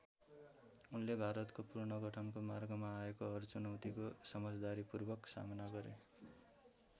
उनले भारतको पुनर्गठनको मार्गमा आएको हर चुनौतीको समझदारीपूर्वक सामना गरे।